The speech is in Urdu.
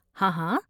ہاں ہاں۔